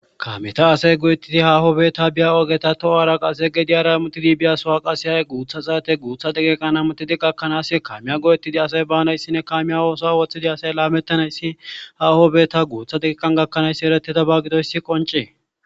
kamiyata asay go7ettidi hahobeeta biya ogeta too'aara qase ge diyara mutidi biyasowa qasehay guutha zaate guutha degeeqanamutidi gakkanaas kamiya go7ettidi asay baanayssinne kamiya ooso woththidi asay laamettanayssi hahobeeta guutha degeeqan gakkanaayssi eretida bagido issi qoncee